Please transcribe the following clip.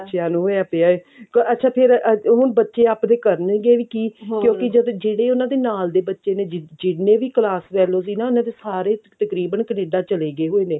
ਬੱਚਿਆਂ ਨੂੰ ਹੋਇਆ ਪਿਆ ਹੈ ਅੱਛਾ ਫ਼ੇਰ ਹੁਣ ਬੱਚੇ ਆਪਦੇ ਕਰਨਗੇ ਵੀ ਕੀ ਜਦ ਜਿਹੜੇ ਉਹਨਾਂ ਏ ਨਾਲ ਦੇ ਬੱਚੇ ਨੇ ਜਿੰਨੇ ਵੀ class fellow ਸੀ ਨਾ ਉਹਨਾਂ ਦੇ ਸਾਰੇ ਤਕਰੀਬਨ ਕਨੇਡਾ ਚਲੇ ਗਏ ਹੋਏ ਨੇ